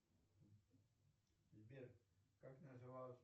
сбер как называлась